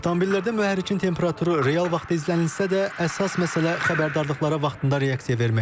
Avtomobillərdə mühərrikin temperaturu real vaxtda izlənilirsə də, əsas məsələ xəbərdarlıqlara vaxtında reaksiya verməkdir.